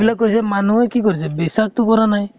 এইবিলাক কৈছে, মানুহে কি কৰিছে? বিশ্বাস টো কৰা নাই।